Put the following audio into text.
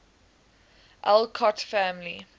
alcott family